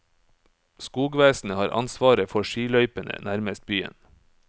Skogvesenet har ansvaret for skiløypene nærmest byen.